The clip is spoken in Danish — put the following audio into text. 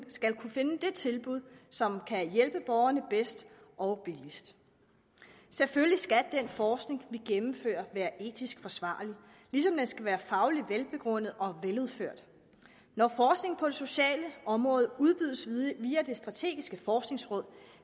skal kunne finde det tilbud som kan hjælpe borgerne bedst og billigst selvfølgelig skal den forskning vi gennemfører være etisk forsvarlig ligesom den skal være fagligt velbegrundet og veludført når forskning på det sociale område udbydes via det strategiske forskningsråd